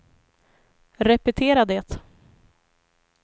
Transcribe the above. repetera det